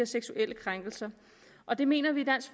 seksuelle krænkelser og det mener vi i dansk